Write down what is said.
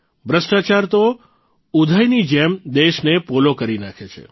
ભ્રષ્ટાચાર તો ઉધઇની જેમ દેશને પોલો કરી નાંખે છે